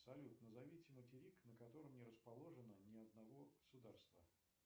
салют назовите материк на котором не расположено ни одного государства